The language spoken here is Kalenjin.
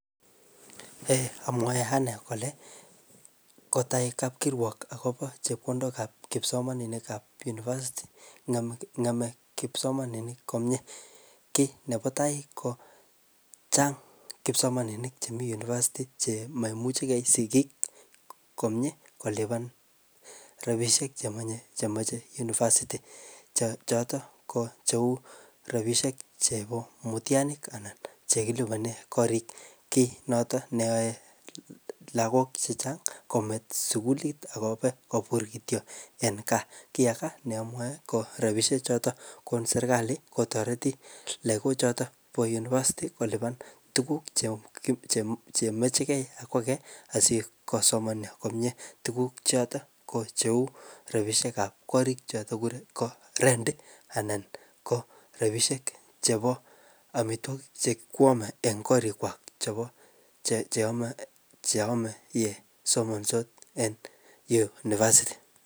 Ye amwae ane kole kotai kapkirwok akobo chepkondok ap kisomaninik ap university, ngeme ngeme kisomaninik komyee. Kiy nepo tai ko chang' kipsomaninik chemii university che maimuchikei sigik komyee kolipan rabisiek che manye, che machei univeristy. Che chotok ko cheu rabisiek chebo mutianik anan che kilipane korik. Kiy notok neae lagok chechang kometo sukulit akobe kobur kityo en gaa. Kiy aga ne amwae, ko rabisiek chotok kon serikali kotoreti lagok chotok po university kolipan tuguk che-che-chemakchinkey akwage asikosoman komyee. Tuguk chotok ko cheu rabisiek ap korik chotok ko rent anan ko rabisiek chebo amwitogik che kikwame eng korik kwak chebo che ame-che ame ye somansot en university